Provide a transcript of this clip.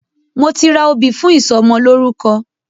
Mo ti ra obì fún ìsọmọlórúkọ.